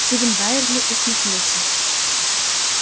стивен байерли усмехнулся